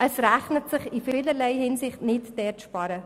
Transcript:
Es rechnet sich in vielerlei Hinsicht nicht, bei diesen zu sparen.